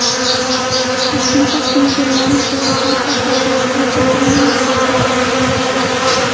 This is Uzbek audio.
Toshkentda avtomobillarni to‘g‘ri parkovka qilish bo‘yicha trening o‘tkaziladi.